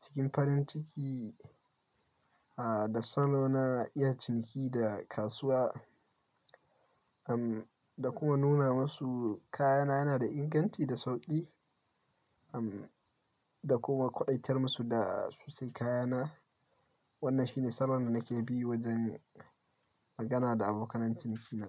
cikin farin ciki, ah da salo na iya ciniki da kasuwa, umm da kuma nuna musu kayana yana da inganci da sauki, umm da kuma ƙwaɗaitar musu da su sayi kayana. Wannan shine salon da nake bi wajen magana da abokanan cinikina.